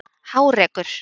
Hárekur